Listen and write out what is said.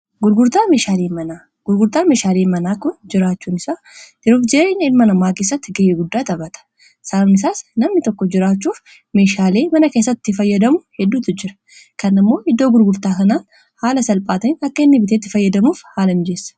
gurgurtaa meeshaalii manaa kun jiraachuun isaa dirufjeeriin ilmanamaakissatti gay'iguddaa xabhata saamisaas namni tokko jiraachuuf meeshaalii mana keessatti fayyadamu hedduutu jira kan immoo iddoo gurgurtaa sanaan haala salphaatain akka hinni biteetti fayyadamuuf haala hinjeessa